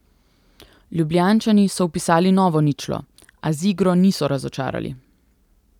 Ljubljančani so vpisali novo ničlo, a z igro niso razočarali.